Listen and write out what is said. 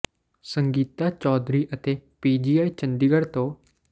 ਸੰਗੀਤਾ ਚੌਧਰੀ ਅਤੇ P G I Chandigarh ਤੋਂ ਡਾ